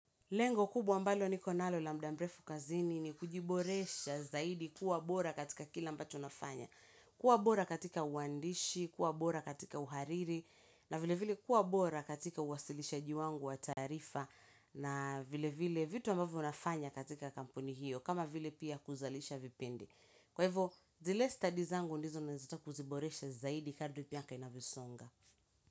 Lengo kubwa ambalo nikonalo la muda mrefu kazini ni kujiboresha zaidi kuwa bora katika kile ambacho nafanya. Kuwa bora katika uandishi, kuwa bora katika uhariri, na vile vile kuwa bora katika uwasilishaji wangu wa taarifa, na vile vile vitu ambavyo nafanya katika kampuni hiyo, kama vile pia kuzalisha vipindi. Kwa hivyo, zile stadi zangu ndizo nazitaka kuziboresha zaidi kardi miaka inavyosonga.